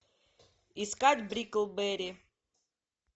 искать бриклберри